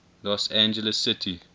los angeles city